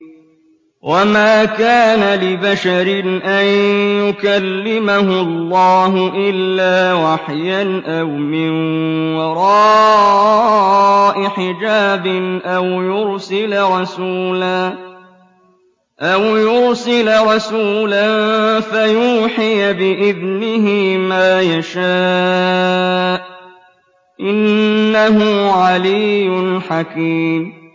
۞ وَمَا كَانَ لِبَشَرٍ أَن يُكَلِّمَهُ اللَّهُ إِلَّا وَحْيًا أَوْ مِن وَرَاءِ حِجَابٍ أَوْ يُرْسِلَ رَسُولًا فَيُوحِيَ بِإِذْنِهِ مَا يَشَاءُ ۚ إِنَّهُ عَلِيٌّ حَكِيمٌ